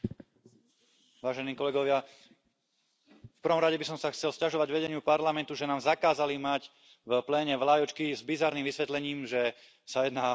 Vážená pani predsedajúca, prvom rade by som sa chcel sťažovať vedeniu Parlamentu, že nám zakázali mať v pléne vlajočky, s bizarným vysvetlením, že sa jedná o bannery.